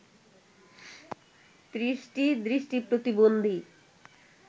৩০টি দৃষ্টি প্রতিবন্ধী